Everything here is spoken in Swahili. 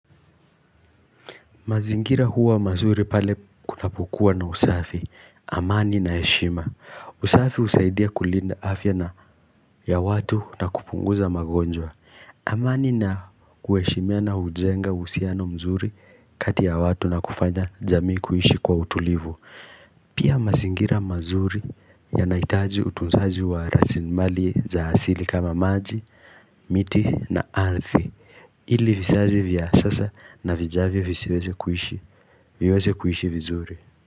Mazingira huwa mazuri pale kunapokuwa na usafi, amani na heshima. Usafi husaidia kulinda afya na ya watu na kupunguza magonjwa. Amani na kuheshimiana hujenga uhusiano mzuri kati ya watu na kufanya jamii kuishi kwa utulivu. Pia mazingira mazuri yanahitaji utunzaji wa rasimali za asili kama maji, miti na ardhi. Ili vizazi vya sasa na vijavyo visiweze kuishi Viweze kuishi vizuri.